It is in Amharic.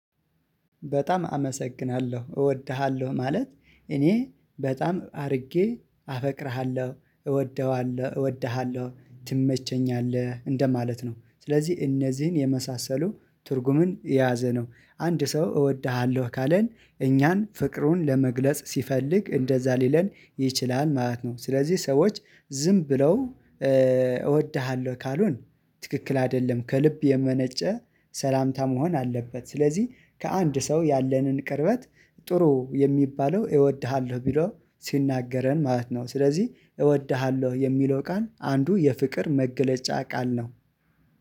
በጣም አመሰግናለሁ እወድሃለሁ ማለት እኔ በጣም አድርጌ አፈቅርሃለሁ እወደዋለሁ እወደሃለሁ ትመቸኛለህ እንደማለት ነው። ስለዚህ እነዚህን የመሳሰሉ ትርጉምን የያዘ ነው። አንድ ሰው እወድሃለሁ ካለን እኛን ፍቅሩን ለመግለጽ ሲፈልግ እንደዛ ሊለን ይችላል ማለት ነው። ስለዚህ ሰዎች ዝም ብለው እወድሃለሁ ካሉን ትክክል አይደለም ከልብ የመነጨ ሰላምታ መሆን አለበት ስለዚህ ከአንድ ሰው ያለንን ቅርበት ጥሩ የሚባለው እወድሃለሁ ቢሎ ሲናገረን ማለት ነው ስለዚህ እወድሃለሁ የሚለው ቃል አንዱ የፍቅር መገለጫ ቃል ነው።